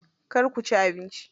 Kar ku ci abinci.